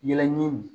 Yɛlɛ ɲimi